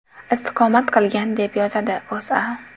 istiqomat qilgan, deb yozadi O‘zA.